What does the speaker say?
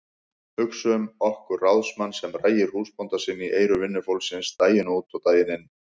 Hugsum okkur ráðsmann sem rægir húsbónda sinn í eyru vinnufólksins daginn út og daginn inn.